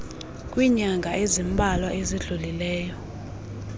kwiinyanga ezimbalwa ezidlulileyo